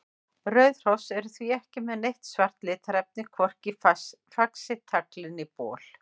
Rauð hross eru því ekki með neitt svart litarefni, hvorki í faxi, tagli né bol.